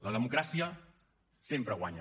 la democràcia sempre guanya